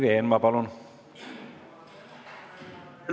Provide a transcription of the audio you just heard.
Ma tänan, härra juhataja!